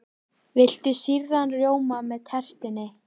Viltu sýrðan rjóma með tertunni?